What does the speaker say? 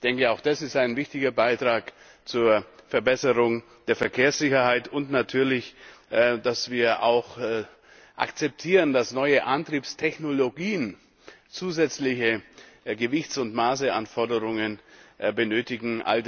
Ich denke, auch das ist ein wichtiger Beitrag zur Verbesserung der Verkehrssicherheit, und natürlich ebenso, dass wir akzeptieren, dass neue Antriebstechnologien zusätzliche Gewichts und Maßanforderungen benötigen.